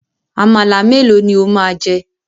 Àmàlà melo ni ó máa jẹ?